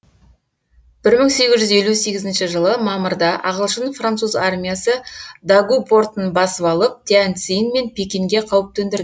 бір мың сегіз жүз елу сегізінші жылы мамырда ағылшын француз армиясы дагу портын басып алып тянь цзинь мен пекинге қауіп төндірді